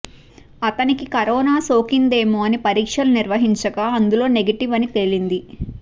అతనికి కరోనా సోకిందేమో అని పరీక్షలు నిర్వహించగా అందులో నెగటివ్ అని తేలింది